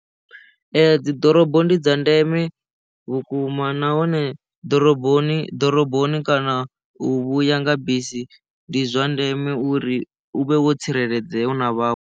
Ee dzi ḓorobo ndi dza ndeme vhukuma nahone ḓoroboni ḓoroboni kana u vhuya nga bisi ndi zwa ndeme uri u vhe wo tsireledzea hu na vhaṅwe.